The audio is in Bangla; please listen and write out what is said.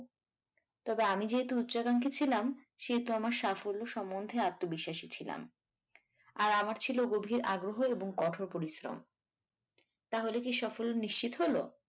তবে আমি যেহেতু উচ্চাকাঙ্ক্ষী ছিলাম সেহেতু আমার সাফল্য সম্বন্ধে আত্মবিশ্বাসী ছিলাম আর আমার ছিল গভীর আগ্রহ এবং কঠোর পরিশ্রম তাহলে কী সফল নিশ্চিত হল?